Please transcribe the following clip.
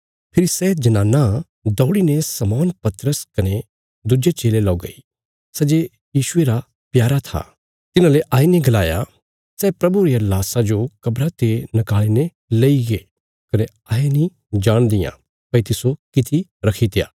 फेरी सै जनानां दौड़ीने शमौन पतरस कने दुज्जे चेले लौ गई सै जे यीशुये रा प्यारा था तिन्हांले आईने गलाया सै प्रभुये रिया लाशा जो कब्रा ते निकाल़ीने लईगे कने अहें नीं जाणदियां भई तिस्सो किति रखी दित्या